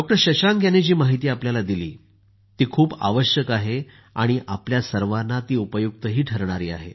शशांक यांनी जी माहिती आपल्याला दिली ती खूप आवश्यक आहे आणि आपल्या सर्वांना उपयुक्त ठरेल